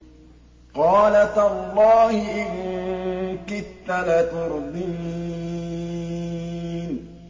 قَالَ تَاللَّهِ إِن كِدتَّ لَتُرْدِينِ